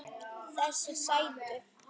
Þessir sætu!